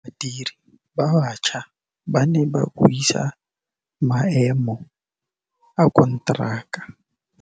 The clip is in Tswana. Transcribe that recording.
Badiri ba baša ba ne ba buisa maêmô a konteraka.